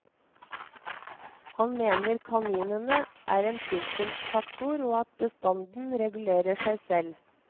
Han mener kaninene er en trivselsfaktor og at bestanden regulerer seg selv.